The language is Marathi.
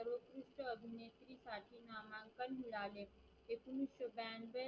नामांकन मिळाले एकोणविशे ब्यांनवे